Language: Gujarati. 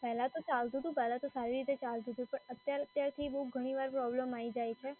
પહેલાં તો ચાલતુંતું, પહેલાં તો સારી રીતે ચાલતુંતું, પણ અત્યારે ઘણી વાર પ્રોબ્લેમ આઈ જાય છે.